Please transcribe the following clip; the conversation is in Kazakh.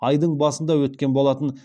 айдың басында өткен болатын